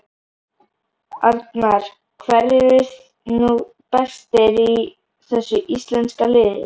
Arnar: Hverjir eru nú bestir í þessu íslenska liði?